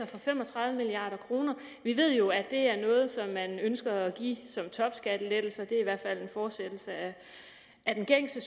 for fem og tredive milliard kroner vi ved jo at det er noget som man ønsker at give som topskattelettelse det er i hvert fald en fortsættelse af den gængse